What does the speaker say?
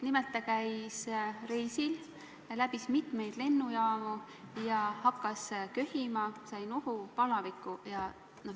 Nimelt käis ta reisil ja läbis mitmeid lennujaamu, hakkas köhima, sai nohu ja palaviku.